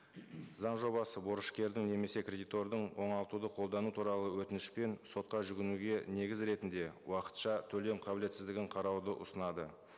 заң жобасы борышкердің немесе кредитордың оңалтуды қолдану туралы өтінішпен сотқа жүгінуге негіз ретінде уақытша төлем қабілетсіздігін қарауды ұсынады